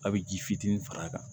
A' bɛ ji fitinin far'a kan